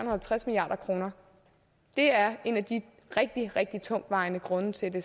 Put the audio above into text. og halvtreds milliard kroner det er en af de rigtig rigtig tungtvejende grunde til at det